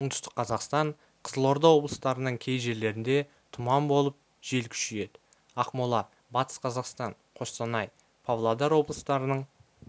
оңтүстік қазақстан қызылорда облыстарының кей жерлерінде тұман болып жел күшейеді ақмола батыс қазақстан қостанай павлодар облыстарының